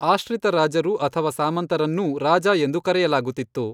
ಆಶ್ರಿತ ರಾಜರು ಅಥವಾ ಸಾಮಂತರನ್ನೂ ರಾಜ ಎಂದು ಕರೆಯಲಾಗುತ್ತಿತ್ತು.